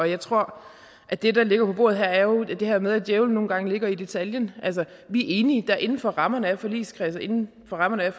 jeg tror at det der ligger på bordet her jo er det her med at djævelen nogle gange ligger i detaljen vi er enige inden for rammerne af forligskredsen inden for rammerne